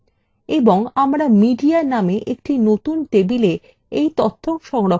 এবং আমরা media নামে একটি নতুন table এই তথ্য সংরক্ষণ করতে পারি